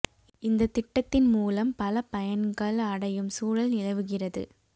இந்த திட்டடத்தின் மூலம் பல பயன்கள் அடையும் சூழல் நிலவுகிறது